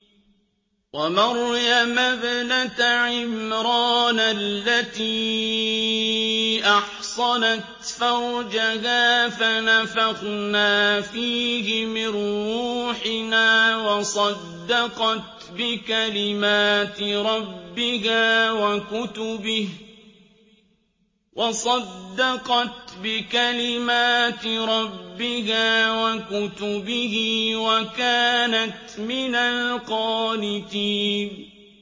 وَمَرْيَمَ ابْنَتَ عِمْرَانَ الَّتِي أَحْصَنَتْ فَرْجَهَا فَنَفَخْنَا فِيهِ مِن رُّوحِنَا وَصَدَّقَتْ بِكَلِمَاتِ رَبِّهَا وَكُتُبِهِ وَكَانَتْ مِنَ الْقَانِتِينَ